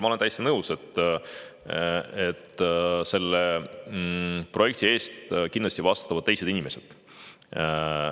Ma olen täiesti nõus, et selle projekti eest kindlasti vastutavad teised inimesed.